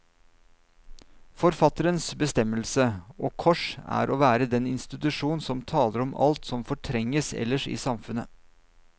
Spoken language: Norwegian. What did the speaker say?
Forfatterens bestemmelse, og kors, er å være den institusjon som taler om alt som fortrenges ellers i samfunnet.